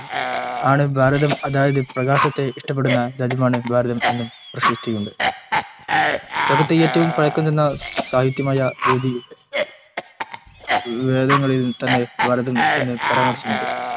രതം ആണ് ഭാരതം അതായത് പ്രകാശത്തെ ഇഷ്ടപെടുന്ന രാജ്യമാണ് ഭാരതം എന്നും പ്രശസ്തിയുണ്ട് ലോകത്തെ ഏറ്റവും പഴക്കം ചെന്ന സാഹിത്യമായ വേദങ്ങളിൽതന്നെ ഭാരതം എന്ന പരാമർശമുണ്ട്